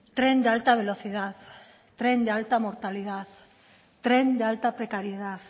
tren de alta velocidad tren de alta mortalidad tren de alta precariedad